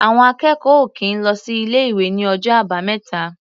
Àwọn akẹ́kọ̀ọ́ ò kì í lọ sí ilé-ìwé ní ọjọ́ Àbámẹ́ta.